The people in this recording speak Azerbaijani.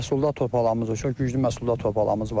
Məhsuldar torpağımız var, çox güclü məhsuldar torpağımız var.